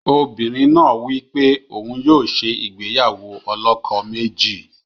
Obìnrin náà wí pé òun yóò ṣe ìgbéyàwó ọlọ́kọ méjì.